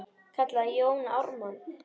kallaði Jón Ármann.